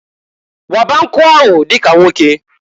Waba nkụ ahụ dika nwoke!